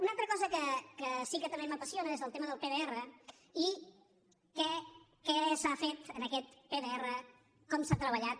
una altra cosa que sí que també m’apassiona és el tema del pdr i què s’ha fet en aquest pdr com s’ha treballat